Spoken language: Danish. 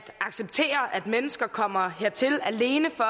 acceptere at mennesker kommer hertil alene for